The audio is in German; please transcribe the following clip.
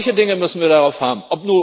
Solche Dinge müssen wir darauf haben.